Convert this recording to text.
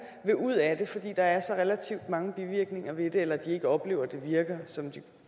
vil ud af det fordi der er så relativt mange bivirkninger ved det eller de ikke oplever at det virker som de